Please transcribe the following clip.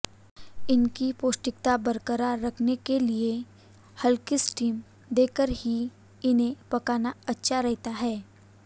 इनकी पौष्टिकता बरकरार रखने के लिए हल्की स्टिम देकर ही इन्हें पकाना अच्छा रहता है